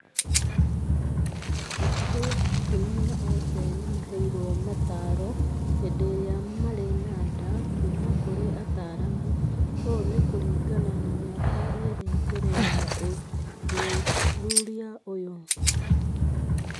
Hakuhĩ atumia othe nĩmaheirũo mataaro hĩndĩ ĩrĩa maarĩ na nda kuuma kũrĩ ataaramu. Ũũ nĩ kũringana na mĩaka ĩĩrĩ mbele ya ũthuthuria ũyũ